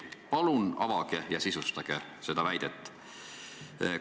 Palun avage ja sisustage seda väidet!